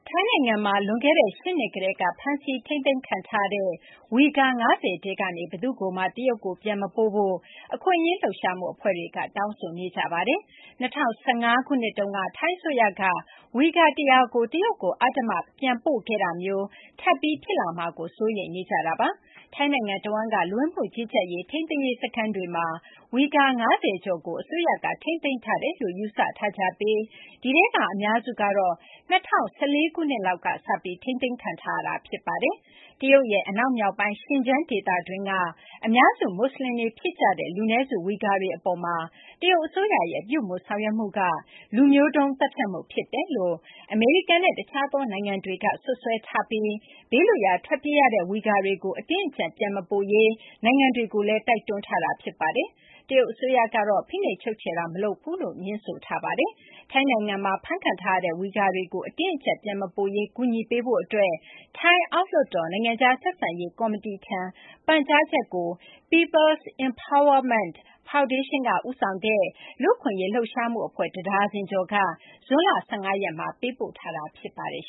ထိုင်းနိုင်ငံမှာ လွန်ခဲ့တဲ့ ၈ နှစ် ကတည်းက ဖမ်းဆီး ထိန်းသိမ်းခံထားရတဲ့ ဝီဂါ ၅၀ ထဲကနေ ဘယ်သူ့ကိုမှ တရုတ်ကို ပြန်မပို့ဖို့ အခွင့်အရေး လှုပ်ရှားမှု အဖွဲ့တွေက တောင်းဆိုနေကြပါတယ်။ ၂၀၁၅ ခုနှစ်တုန်းက ထိုင်းအစိုးရက ဝီဂါ ၁၀၀ ကို တရုတ်ကို အဓမ္မ ပြန်ပို့ခဲ့တာမျိုး ထပ်ပြီး ဖြစ်လာမှာကို စိုးရိမ်နေကြတာပါ။ ထိုင်းနိုင်ငံ တဝန်းက လူဝင်မှုကြီးကြပ်ရေး ထိန်းသိမ်းရေး စခန်းတွေမှာ ဝီဂါ ၅၀ ကျော်ကို အစိုးရက ထိန်းသိမ်းထားတယ်လို့ ယူဆထားကြပြီး ဒီထဲက အများစုကတော့ ၂၀၁၄ ခုနှစ်လောက်က စလို့ ထိန်းသိမ်းခံထားရတာ ဖြစ်ပါတယ်။ တရုတ်ရဲ့ အနောက်မြောက်ပိုင်း Xinjiang ဒေသတွင်းက အများစု မူဆလင်တွေ ဖြစ်ကြတဲ့ လူနည်းစု ဝီဂါတွေ အပေါ်မှာ တရုတ် အစိုးရရဲ့ ပြုမူဆောင်ရွက်မှုက လူမျိုးတုန်း သတ်ဖြတ်မှု ဖြစ်တယ်လို့ အမေရိကန်နဲ့ တခြားသော နိုင်ငံတွေက စွပ်စွဲထားပြီး ဘေးလွတ်ရာ ထွက်ပြေးရတဲ့ ဝီဂါတွေကို အတင်းအကြပ် ပြန်မပို့ရေး နိုင်ငံတွေကိုလည်း တိုက်တွန်းထားတာ ဖြစ်ပါတယ်။ တရုတ် အစိုးရကတော့ ဖိနှိပ်ချုပ်ချယ်တာ မလုပ်ဘူးလို့ ငြင်းဆိုထားတာပါ။ ထိုင်းနိုင်ငံမှာ ဖမ်းခံထားရတဲ့ ဝီဂါတွေကို အတင်းအကြပ် ပြန်မပို့ရေး ကူညီပေးဖို့ အတွက် ထိုင်း အောက်လွှတ်တော် နိုင်ငံခြား ဆက်ဆံရေး ကော်မတီထံ ပန်ကြားချက်ကို People’s Empowerment ဖောင်ဒေးရှင်းက ဦးဆောင်တဲ့ အခွင့်အရေး လှုပ်ရှားမှု အဖွဲ့ တဒါဇင်ကျော်က ဇွန်လ ၁၅ ရက်နေ့က ပေးပို့ခဲ့တာ ဖြစ်ပါတယ်